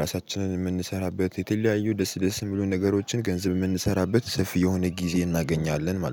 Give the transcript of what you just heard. ራሳችንን የምንሰራበት የተለያዩ ደስ ደስ የሚሉን ነገሮችን ገንዘብ የምንሰራበት ሰፊ የሆነ ጊዜ እናገኛለን ማለት ነው